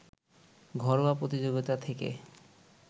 ঘরোয়া প্রতিযোগিতা থেকে